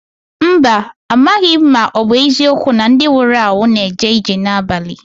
Mba, amaghị m ma ọ bụ eziokwu na ndị nwụrụ anwụ na-eje ije n'abalị.